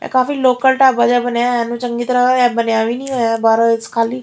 ਇਹ ਕਾਫੀ ਲੋਕਲ ਢਾਬਾ ਜਿਹਾ ਬਣਿਆ ਹੋਇਆ ਇਹਨੂੰ ਚੰਗੀ ਤਰ੍ਹਾਂ ਇਹ ਬਣਿਆ ਵੀ ਨਹੀਂ ਹੋਇਆ ਬਾਹਰੋਂ ਖਾਲੀ --